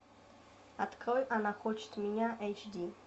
открой она хочет меня эйч ди